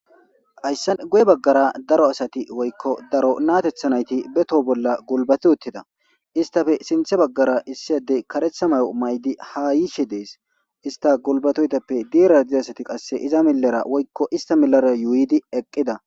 Haysse guye baggara daro asati woykko daro natethanayti beto bolla gulbati uttida istafe sinthe baggara issiyadey karetha mayo maydi ha yiishe dees ista gulbatoytappe diira diasati qasse iza milara woykko ista milara yuuydi eqqida